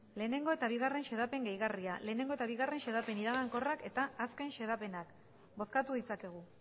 lehenengo eta bigarren xedapen gehigarriak lehenengo eta bigarren xedapen iragankorrak eta azken xedapenak bozkatu ditzakegu